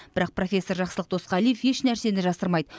бірақ профессор жақсылық досқалиев ешнәрсені жасырмайды